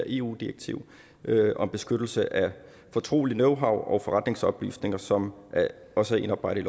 eu direktivet om beskyttelse af fortrolige knowhow og forretningsoplysninger som også er indarbejdet